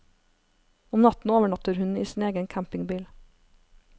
Om natten overnatter hun i sin egen campingbil.